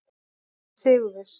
Hann er sigurviss.